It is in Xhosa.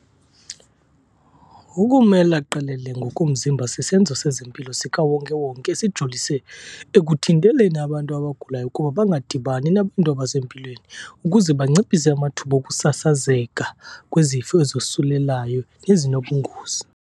Ukumela qelele ngokomzimba sisenzo sezempilo sikawonke-wonke esijolise ekuthinteleni abantu abagulayo ukuba bangadibani nabantu abasempilweni ukuze banciphise amathuba okusasazeka kwezifo ezosulelayo nezinobungozi.